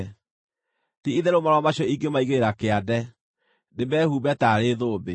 Ti-itherũ marũa macio ingĩmaigĩrĩra kĩande, ndĩmehumbe taarĩ thũmbĩ.